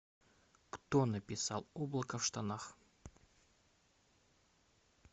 кто написал облако в штанах